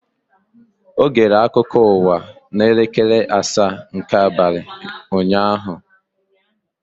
Ọ gere akụkọ ụwa n'elekere asaa nke abalị ụnyaahụ?